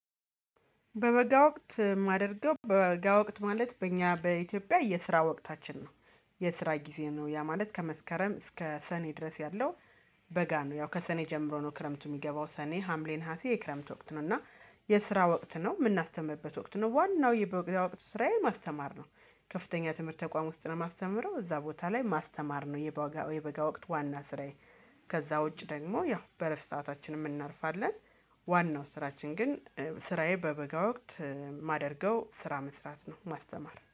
በበጋ ወቅት የማደርገው በበጋ ወቅት ማለት በእኛ በኢትዮጵያ የስራ ወቅታችን ነው። የስራ ጊዜ ነው ያ ማለት ከመስከረም እስከ ሰኔ ድረስ ያለው። በጋ ነው። ያው ከሰኔ ጀምሮ ነው ክረምቱ የሚገባው ሰኔ ሀምሌ ነሀሴ የክረምት ወቅት ነው። እና የስራ ወቅት ነው የምናስተምርበት ወቅት ነው ዋናው የበጋ ወቅት ስራዬ ማስተማር ነው። ከፍተኛ ትምህርት ተቋም ውስጥ ነው የማስተምረው እዛ ቦታ ላይ ማስተማር ነው። የባጋ የበጋ ወቅት ዋና ስራዬ። ከዛ ውጭ ደግሞ ያው በረፍት ሰአታችንም እናርፋለን። ዋናው ስራችን ግን ስራዬ በበጋ ወቅት ማደርገው ስራ መስራት ነው ማስተማር